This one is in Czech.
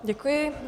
Děkuji.